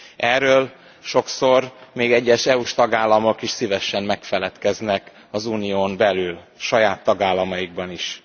Erről sokszor még egyes EU s tagállamok is szívesen megfeledkeznek az unión belül, saját tagállamaikban is.